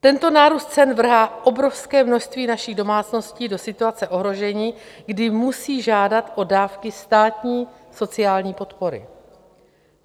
Tento nárůst cen vrhá obrovské množství našich domácností do situace ohrožení, kdy musí žádat o dávky státní sociální podpory.